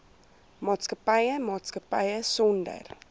maatskappy maatskappy sonder